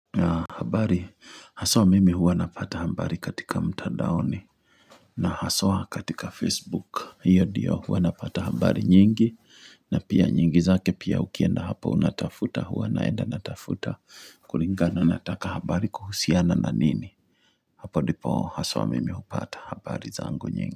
Na habari, haswa mimi huwa napata habari katika mtandaoni na haswa katika Facebook, hiyo ndio huwa napata habari nyingi na pia nyingi zake pia ukienda hapo unatafuta huwa naenda natafuta kulingana nataka habari kuhusiana na nini Hapo ndipo haswa mimi hupata habari zangu nyingi.